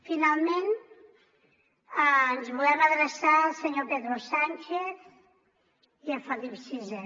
finalment ens volem adreçar al senyor pedro sánchez i a felip vi